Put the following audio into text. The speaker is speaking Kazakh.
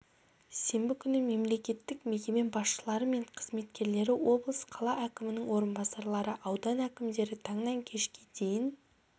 сенбі күні мемлекеттік мекеме басшылары мен қызметкерлері облыс қала әкімінің орынбасарлары аудан әкімдері таңнан кешке дейін